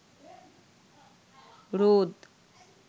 রোদ